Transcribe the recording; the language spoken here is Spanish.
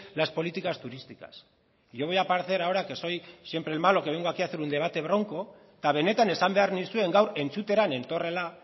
las políticas turísticas y yo voy a parecer ahora que soy siempre el malo que vengo aquí hacer un debate bronco eta benetan esan behar nizuen gaur